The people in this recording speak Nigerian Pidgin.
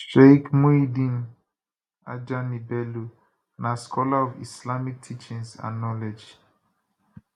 sheik muyideen ajani bello na scholar of islamic teachings and knowledge